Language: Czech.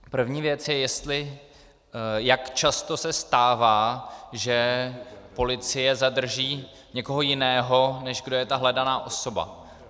První věc je, jak často se stává, že policie zadrží někoho jiného, než kdo je ta hledaná osoba.